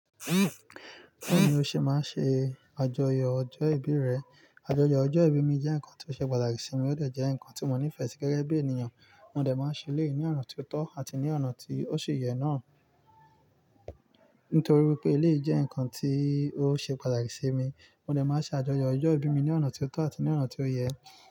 Bẹ́ẹ̀ni, ó ṣe má ṣe àjọyọ̀ ọjọ́ ìbí rẹ. Àjọyọ̀ ọjọ́ ìbí mi jẹ́ nǹkan tí ó ṣe patàkirsí mi, ó dẹ̀ jẹ́ nǹkan tí mo nífẹ̀ẹ́ sí gẹ́gẹ́ bí ènìyàn. Mo dẹ̀ máa ṣe ilé ní ọ̀nà tí ó tọ́ àti ní ọ̀nà tí ó ṣe yẹ náà. Nítorí pé eléyìí jẹ́ nǹkan tí ó ṣe pàtàkì sí mi, mo dẹ̀ máa ṣe àjọyọ̀ ọjọ́ ìbí mi ní ọ̀nà tí ó tọ́ àti ní ọ̀nà tí ó yẹ.